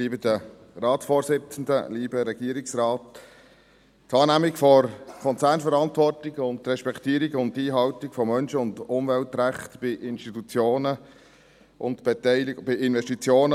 Die Wahrnehmung der Konzernverantwortung und die Respektierung und Einhaltung von Menschen- und Umweltrechten bei Investitionen